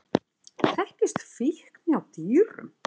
Þekkist fíkn hjá dýrum?